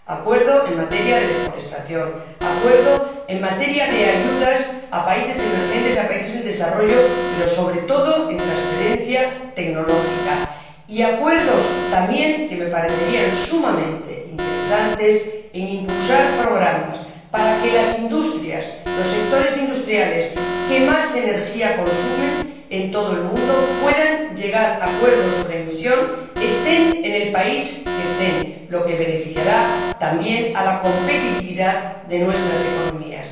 Acuerdo en materia de deforestación, acuerdo en materia de ayudas a países emergentes y a países en desarrollo, pero, sobre todo, en materia de transferencia tecnológica, y acuerdos también que me parecerían sumamente interesantes para la promoción de programas para que los sectores industriales que más energía consumen, en todo el mundo, puedan llegar a acuerdos sobre emisiones, estén en el país que estén, lo que beneficiará también a la competitividad de nuestras economías.